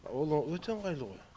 ол өте ыңғайлы ғой